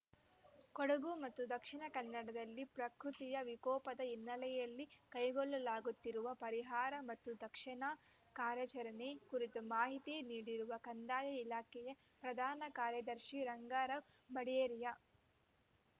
ಕೊಡಗು ಮತ್ತು ದಕ್ಷಿಣ ಕನ್ನಡದಲ್ಲಿ ಪ್ರಾಕೃತಿಯ ವಿಕೋಪದ ಹಿನ್ನೆಲೆಯಲ್ಲಿ ಕೈಗೊಳ್ಳಲಾಗುತ್ತಿರುವ ಪರಿಹಾರ ಮತ್ತು ರಕ್ಷಣಾ ಕಾರ್ಯಾಚರಣೆ ಕುರಿತು ಮಾಹಿತಿ ನೀಡಿರುವ ಕಂದಾಯ ಇಲಾಖೆಗೆ ಪ್ರಧಾನ ಕಾರ್ಯದರ್ಶಿ ಗಂಗಾರಾಮ್‌ ಬಡೇರಿಯಾ